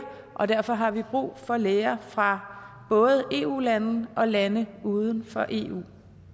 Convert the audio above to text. og derfor har vi brug for læger fra både eu lande og lande uden for eu